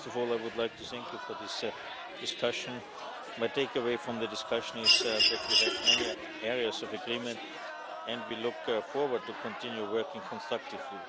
First of all, I would like to thank you for this discussion. My take away from the discussion is that we have many areas of agreement, and we look forward to continue working constructively.